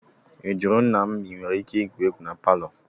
Ị jụrụ nna m ma inwere ike igwu egwu na palọ?